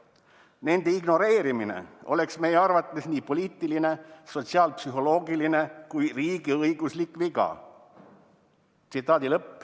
"Nende ignoreerimine oleks meie arvates nii poliitiline, sotsiaalpsühholoogiline kui riigiõiguslik viga.